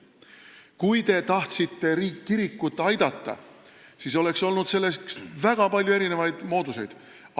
Kui te tahtsite kirikut aidata, siis oleks olnud selleks väga palju mooduseid.